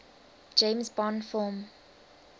james bond film